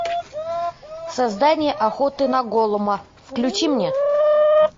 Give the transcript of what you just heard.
создание охота на голлума включи мне